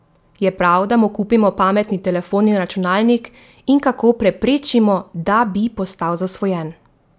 Je prav, da mu kupimo pametni telefon in računalnik, in kako preprečimo, da bi postal zasvojen?